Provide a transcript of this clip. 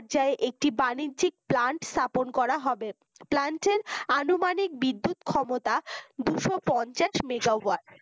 একটি বাণিজ্যিক plant স্থাপন করা হবে plant এর আনুমানিক বিদ্যুৎ ক্ষমতা দুইশ পঞ্চাশ মেগাওয়াট